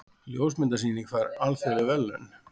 Ljósmyndasýning fær alþjóðleg verðlaun